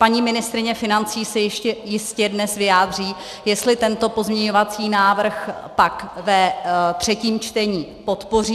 Paní ministryně financí se jistě ještě dnes vyjádří, jestli tento pozměňovací návrh pak ve třetím čtení podpoří.